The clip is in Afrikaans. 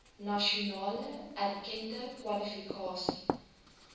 nasionaal erkende kwalifikasie